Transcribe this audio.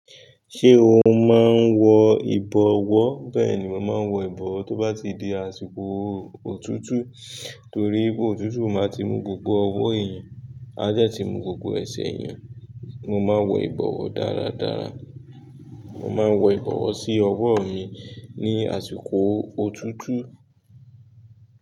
Ṣé o máa ń wọ ìbọwọ́? Bẹ́ẹ̀ni, mo máa ń wọ ìbọwọ́ tó bá ti di àsìkò òtútù torí òtútù máa ti mu gbogbo ọwọ́ èèyàn, á dẹ ti mu gbogbo ẹsẹ̀ èèyàn. Mo máa ń wọ ìbọwọ́ dáradára. Mo máa ń wọ ìbọwọ́ sí ọwọ́ mi ní àsìkò òtútù.